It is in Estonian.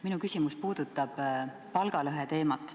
Minu küsimus puudutab palgalõhe teemat.